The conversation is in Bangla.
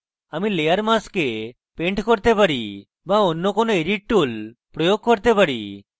কিন্তু আমি layer mask paint করতে পারি but অন্য কোনো edit tools প্রয়োগ করতে পারি